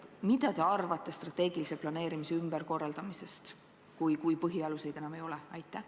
Mida te arvate strateegilise planeerimise ümberkorraldamisest, kui põhialuseid enam ei ole?